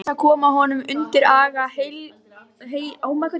Til þess að koma honum undir aga heilagrar kirkju, vitaskuld!